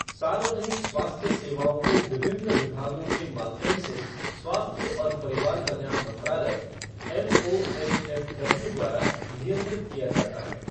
सार्वजनिक स्वास्थ्य सेवाओं को विभिन्न विभागों के माध्यम से स्वास्थ्य और परिवार कल्याण मंत्रालय एमओएचएफ़डब्ल्यू द्वारा नियंत्रित किया जाता है।